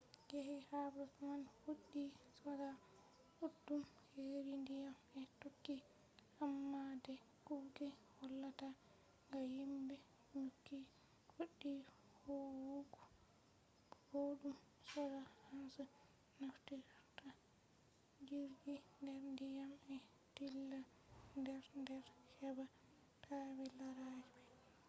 yake habre man fuɗɗi soja ɗuɗɗum heri ndiyam ɓe tokki amma de kuje hollata ha himɓe nyukki fuɗɗi huwugo boɗɗum soja en je naftirta jirgi nder ndiyam ɓe dilla nder nder heɓa taɓe lara ɓe